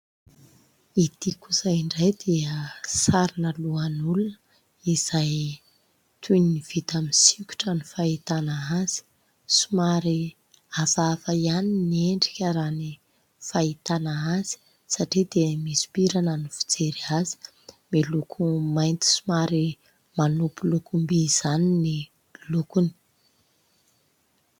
Ity kosa indray dia sarina lohan'olona izay toy ny vita amin'ny sikotra ny fahitana azy. Somary avava ihany ny endrika raha ny fahitana azy satria dia misompirana ny fijery azy. Miloko mainty somary manopy lokom-by izany ny lokony.